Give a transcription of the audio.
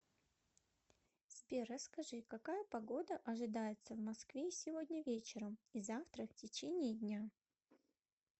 сбер расскажи какая погода ожидается в москве сегодня вечером и завтра в течение дня